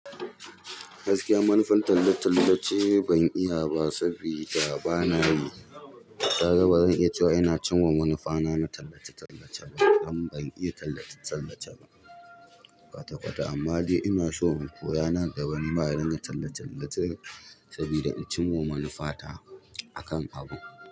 Gaskiya manufan tallace-tallace ban iya ba saboda ba na yi. Ka ga ba zan iya cewa ina cin wa manufa na na tallace-tallace ba, amma ban iya tallace-tallace ba kwata-kwata. Amma dai ina so in koya nan da wani mahayin tallace-tallace saboda in cin wa manufa ta a kan abu.